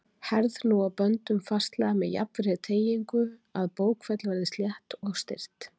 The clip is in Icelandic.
Herð nú á böndum fastlega með jafnri teygingu, að bókfell verði slétt og styrkt.